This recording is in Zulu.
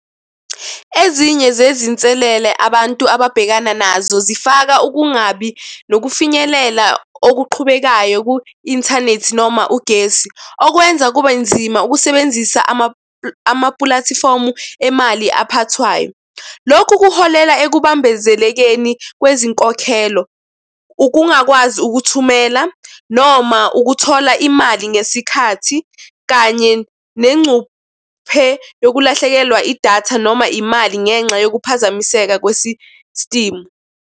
Ezinye zezinselele abantu ababhekana nazo zifaka ukungabi nokufinyelela okuqhubekayo ku-inthanethi noma ugesi. Okwenza kube nzima ukusebenzisa amapulathifomu emali aphathwayo. Lokhu kuholela ekubambezelekeni kwezinkokhelo, ukungakwazi ukuthumela, noma ukuthola imali ngesikhathi, kanye nengcuphe yokulahlekelwa idatha noma imali ngenxa yokuphazamiseka kwe-system.